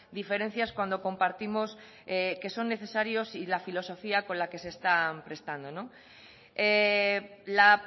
diferencias cuando compartimos que son necesarios y la filosofía con la que se están prestando la